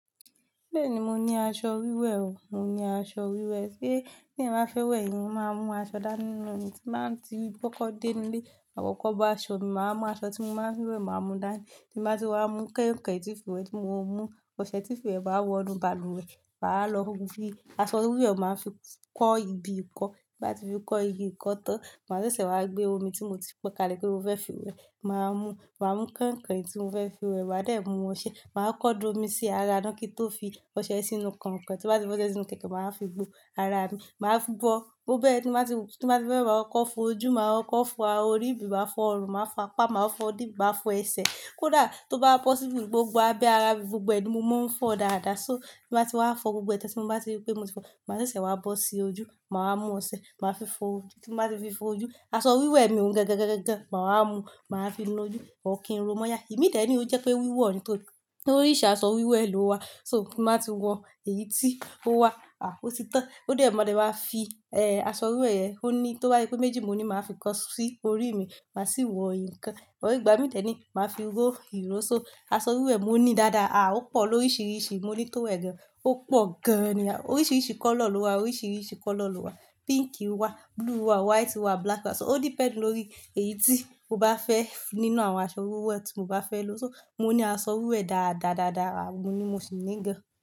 Bẹ́ẹ̀ni, mo ní aṣọ wíwẹ̀ o, mo ní aṣọ wíwẹ̀. Sé tí ẹ̀yán ba fẹ́ wẹ̀, èèyàn máa mú aṣọ dá ní loni tí máa ń ti kokọ́ dé inú ilé. Makọ́kọ́ bo aṣọ mi, màá wa mú aṣọ tí mo máa ń fi wẹ̀, màá mú dání. Tí n bá ti wá mú kẹ̀iǹkẹ̀in tí n fi wẹ̀ tí mo mú, ọṣẹ tín fi wẹ̀ bá wọnú balùwẹ̀, mà wa lọ fí, aṣọ wíwẹ̀ máa fi kọ́ ibi ìkọ́. Bí n bá ti fi kọ́ igi ìkọ́ tán, màá ṣẹ̀ṣẹ̀ wá gbé omi tí mo ti pon kalẹ̀ pe mo fẹ́ fi wẹ̀. Mà waá mú, màá mú kẹ̀iǹkẹ̀iǹ tí mo fẹ́ fi wẹ̀, máa dè mú wọn ṣẹ. Màá kọ́ko da omi sí ara ná kí n tó fi ọṣẹ sínú kẹ̀iǹkẹ̀in. Tí n bá ti fọ́sẹ sínú kẹ̀iǹkẹ̀iǹ, màá wa fi gbó ara mi. Màá fú gbọ, bó bẹ́ẹ̀ tí mbá ti, tí mbá ti fe we maa kọkọ́ fo ojú, màá koko fo ará orí, maá fọ́ ọrùn, màá fo apa, màá fọ́ idì, maá fọ ẹsẹ̀. Kódà tó bá pọ̀síbu gbogbo abẹ́ ara mi gbogbo ẹ ni, mo máa ń fọ dáadáa. So tí mbá ti wá fọ gbogbo ẹ̀ tan tí mo bá ti rí pé mo ti ri pe mo ti fọ, màá ṣẹ̀ṣẹ̀ wá bọ́ sí ojú, màá wa mú ọṣẹ, màá fi fọ ojú. Tí mbá ti fi fọ ojú, aṣọ wíwẹ̀ mi òún gangan gan gan gan, màá wa mú, màá fi nu ojú, or kí n ro mọ́ya. Imi dẹ́ ni ó jẹ́ pé wíwọ̀ ni tó, oríiṣi aṣọ wíwẹ̀ ló wà, so tí mbá ti wọ èyí tí ó wà. Ó ti tán. Ó dè ma de máa fi, aṣọ wíwẹ̀ yẹn, ó ní, tó bá se pé méjì ni mo ní, màá fi kan sí orí mi, màá sì wọ ìkan. Or igba mi dẹ́ ni, màá fi ró ìró. So aṣọ wíwẹ̀ mo ní dáadáa. Ó pọ̀ lóríṣìíríṣìí. Mo ní tówe gan, ó pọ̀ gan ni. Oríṣìíríṣìí kọ́lọ̀ ló wà, oríṣìíríṣìí kọ́lọ̀ ló wà. Pink wà, blue wà, white wà, black wà. So ó depend lórí èyí tí mo bá fẹ́ nínú àwọn aṣọ wíwẹ̀ tí mo bá fẹ́ lò. So mo ní aṣọ wíwẹ̀ dááda dáadáa, oun ni mo sì ní gan.